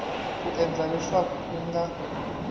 ku endla leswaku u nga